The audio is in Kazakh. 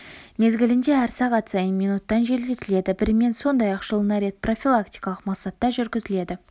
мезгілінде әр сағат сайын минуттан желдетіледі бірімен сондай-ақ жылына рет профилактикалық мақсатта жүргізіледі